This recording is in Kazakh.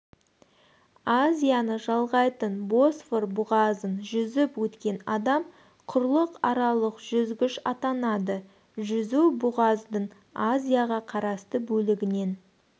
азияны жалғайтын босфор бұғазын жүзіп өткен адам құрлықаралық жүзгіш атанады жүзу бұғаздың азияға қарасты бөлігінен